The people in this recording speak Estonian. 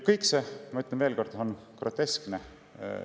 Kõik see, ma ütlen veel kord, on groteskne.